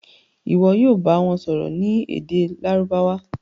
Ìwo yóò bá wón sòrò ní èdè Lárúbáwá.